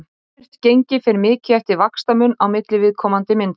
Framvirkt gengi fer mikið eftir vaxtamun á milli viðkomandi mynta.